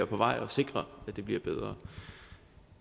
på vej og sikre at det bliver bedre